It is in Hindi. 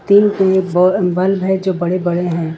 तीन बल्ब है जो बड़े बड़े हैं।